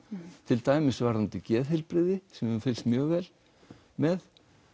til dæmis varðandi geðheilbrigði sem er fylgst mjög vel með